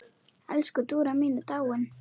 Elsku Dúra mín er dáin.